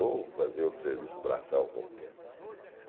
Ou fazer outro serviço, braçal qualquer.